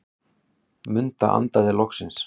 Munda andaði loksins.